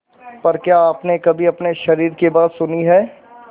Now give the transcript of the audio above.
पर क्या आपने कभी अपने शरीर की बात सुनी है